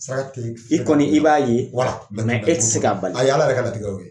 I kɔni i b'a ye e ti se ka bali . Ayi Ala yɛrɛ ka latigɛ de y'o ye.